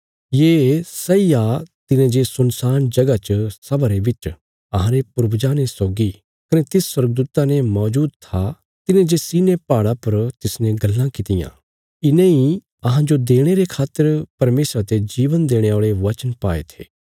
ये सैई आ तिने जे सुनसान जगह च सभा रे बिच अहांरे पूर्वजां ने सौगी कने तिस स्वर्गदूता ने मौजूद था तिने जे सिनै पहाड़ा पर तिसने गल्लां कित्तियां इने इ अहांजो देणे रे खातर परमेशरा ते जीवन देणे औल़े वचन पाये थे